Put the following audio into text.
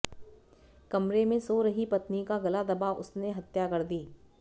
कमरे में सो रही पत्नी का गला दबा उसने हत्या कर दी